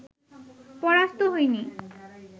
পরাস্ত হইনি